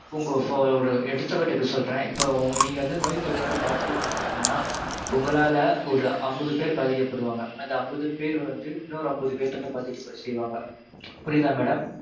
உங்க இப்போ ஒரு எடுத்துக்காட்டுக்கு சொல்றேன். இப்போ வந்து நீங்க நோய் தொற்றோட பாதிக்கப்பட்டிருக்கீங்கனா உங்களால ஒரு அம்பது பேர் பாத்திக்கப்படுவாங்க. அந்த அம்பது பேர் வந்து இன்னொரு அம்பது பேத்த வந்து பாதிக்கப்பட செய்வாங்க. புரியுதா madam?